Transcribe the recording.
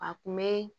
A kun be